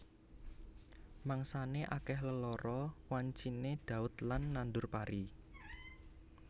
Mangsané akèh lelara wanciné ndhaut lan nandur pari